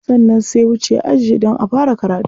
Sannan sai wuce aji don a fara karatu.